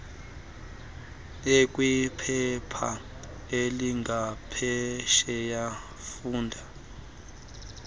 ekwiphepha elingaphesheya funda